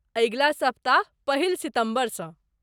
अगिला सप्ताह, पहिल सितम्बरसँ।